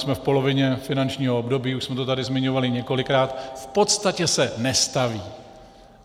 Jsme v polovině finančního období, už jsme to tady zmiňovali několikrát - v podstatě se nestaví.